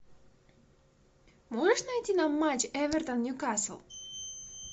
можешь найти нам матч эвертон ньюкасл